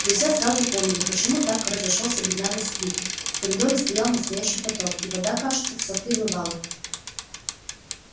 друзья сразу поняли почему так разошёлся бедняга сквиб в коридоре стоял настоящий потоп и вода кажется всё прибывала